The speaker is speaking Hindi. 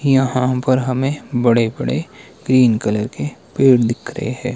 यहां पर हमें बड़े बड़े ग्रीन कलर के पेड़ दिख रहे है।